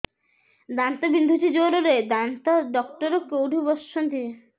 ଦାନ୍ତ ବିନ୍ଧୁଛି ଜୋରରେ ଦାନ୍ତ ଡକ୍ଟର କୋଉଠି ବସୁଛନ୍ତି